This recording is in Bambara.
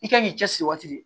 I kan k'i cɛsiri waati de